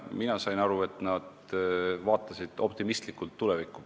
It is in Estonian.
Mina sain aru, et pärast seda kokkusaamist nad vaatavad optimistlikult tulevikku.